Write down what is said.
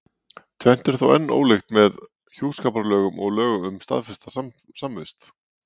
Tvennt er þó enn ólíkt með hjúskaparlögunum og lögum um staðfesta samvist.